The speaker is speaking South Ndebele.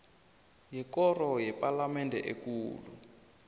yekoro yepalamende ekulu